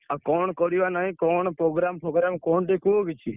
ଆଉ କଣ କରିବା ନାଇଁ କଣ program ଫୋଗ୍ରାମ କଣ ଟିକେ କୁହ କିଛି?